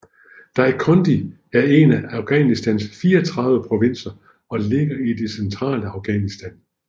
Dainkondi er en af Afghanistans 34 provinser og ligger i det centrale Afghanistan